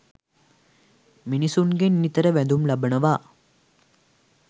මිනිසුන්ගෙන් නිතර වැඳුම් ලබනවා.